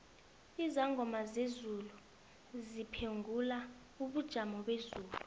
izangoma zezulu ziphengula ubujomobezulu